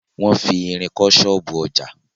Wọn fi irin kọ́ ṣọ́ọ̀bú ọjà.